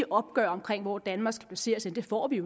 opgør om hvor danmark skal placere sig får vi